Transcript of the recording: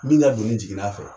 Min ka donin jiginn'a fɛɲ